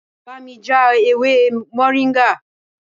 Bámi já ewé moringa!